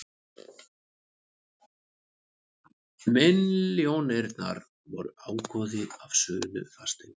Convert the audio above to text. Milljónirnar voru ágóði af sölu fasteignar